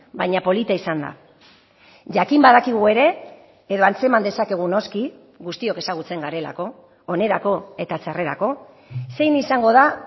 baina polita izan da jakin badakigu ere edo antzeman dezakegu noski guztiok ezagutzen garelako onerako eta txarrerako zein izango da